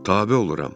Tabe oluram.